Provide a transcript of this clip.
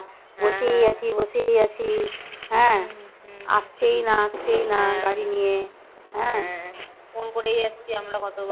phone করেই যাচ্ছি আমরা কত